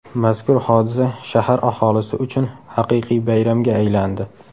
Mazkur hodisa shahar aholisi uchun haqiqiy bayramga aylandi.